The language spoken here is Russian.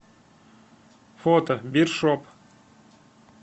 фото бир шоп